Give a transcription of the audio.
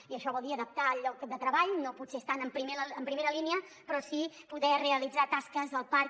i això vol dir adaptar el lloc de treball no potser estant en primera línia però sí podent realitzar tasques al parc